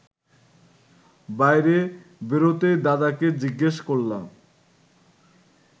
বাইরে বেরোতেই দাদাকে জিজ্ঞেস করলাম